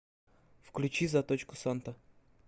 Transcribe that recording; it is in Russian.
включи заточку санта